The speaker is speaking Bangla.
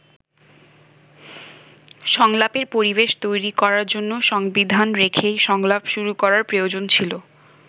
সংলাপের পরিবেশ তৈরি করার জন্য সংবিধান রেখেই সংলাপ শুরু করার প্রয়োজন ছিল।